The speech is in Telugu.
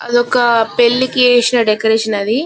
అదొక పెళ్ళికి ఏశిన డెకొరేషన్ అది.